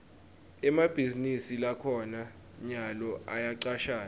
emabhizinisi lakhona nyalo ayacashana